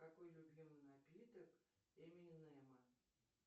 какой любимый напиток эминема